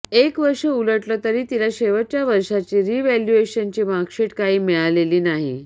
एक वर्ष उलटलं तरी तिला शेवटच्या वर्षाची रिव्हॅल्युएशनची मार्कशीट काही मिळालेली नाही